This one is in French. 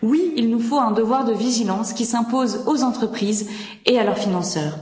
Oui, il nous faut un devoir de vigilance qui s'impose aux entreprises et à leurs financeurs.